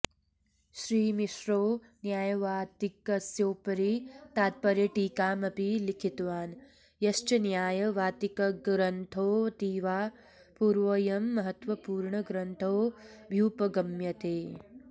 श्रीमिश्रो न्यायवात्तिकस्योपरि तात्पर्यटीकामपि लिखितवान् यश्च न्याय वात्तिकग्रन्थोऽतीवाऽपूर्वोऽयं महत्त्वपूर्णग्रन्थोऽभ्युपगम्यते